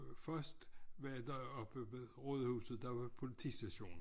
Først var der oppe ved Rådhuset der var politistationen